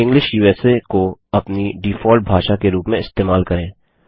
English को अपनी default भाषा के रूप में इस्तेमाल करें